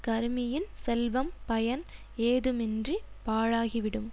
கருமியின் செல்வம் பயன் ஏதுமின்றி பாழாகி விடும்